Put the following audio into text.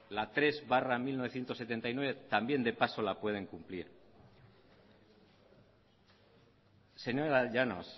la tres barra mil novecientos setenta y nueve también de paso la puede cumplir señora llanos